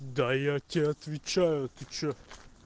да я тебе отвечаю ты что